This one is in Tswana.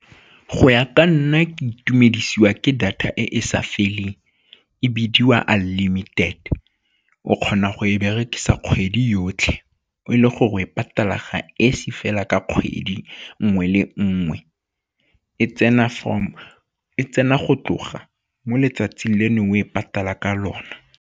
Go ya ka nna, ke itumedise kwa ke data e e sa feleng e bidiwa unlimited o kgona go e berekisa kgwedi yotlhe o e le gore e patala ga esi fela ka kgwedi nngwe le nngwe, e tsena go tloga mo letsatsing le neng o e patala ka lona.